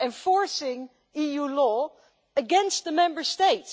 enforcing EU law against the Member States.